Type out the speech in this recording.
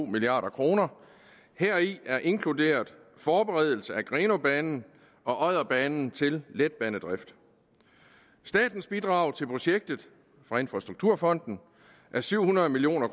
milliard kroner heri er inkluderet forberedelse af grenaabanen og odderbanen til letbanedrift statens bidrag til projektet fra infrastrukturfonden er syv hundrede million